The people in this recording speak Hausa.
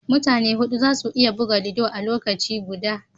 Mutane hudu za su iya buga ludo a lokaci guda